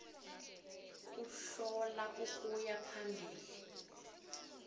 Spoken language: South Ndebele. kuhlola ukuya phambili